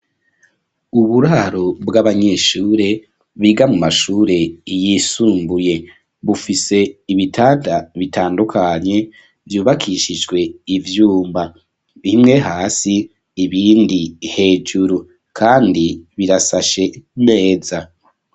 Uburaro bw'abanyeshure biga mu mashure yisumbuye. Bufise ibitanda bitandukanye vyubakishijwe ivyuma, bimwe hasi ibindi hejuru kandi birasashe neza.